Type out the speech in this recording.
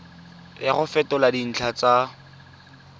ya go fetola dintlha tsa